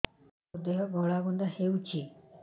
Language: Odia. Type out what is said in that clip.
ମୋ ଦେହ ଘୋଳାବିନ୍ଧା ହେଉଛି